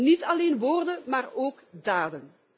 Niet alleen woorden, maar ook daden!